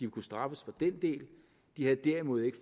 kunne straffes for den del de har derimod ikke